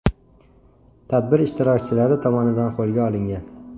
tadbir ishtirokchilari tomonidan qo‘lga olingan.